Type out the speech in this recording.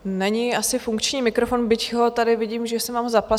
Není asi funkční mikrofon, byť ho tady vidím, že jsem vám ho zapnula.